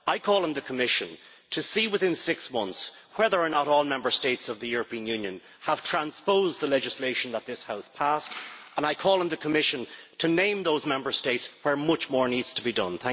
I call on the Commission to see within six months whether or not all Member States of the European Union have transposed the legislation that this House passed, and I call on the Commission to name those Member States where much more needs to be done.